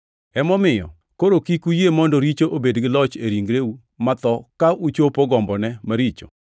Emomiyo koro kik uyie mondo richo obed gi loch e ringreu matho ka uchopo gombone maricho.